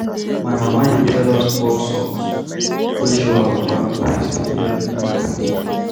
My mama dey tell us folk songs wey show our family history every night.